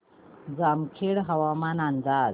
जामखेड हवामान अंदाज